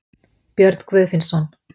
Björn Guðfinnsson.